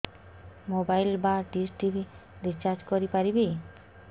mobile ବା dish TV recharge କରି ପାରିବି